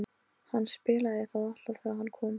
Hann spilaði það alltaf þegar hann kom.